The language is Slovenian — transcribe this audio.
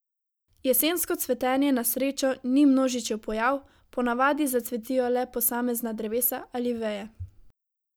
Jesensko cvetenje na srečo ni množičen pojav, po navadi zacvetijo le posamezna drevesa ali veje.